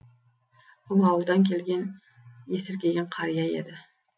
бұл ауылдан келген есіркеген қария еді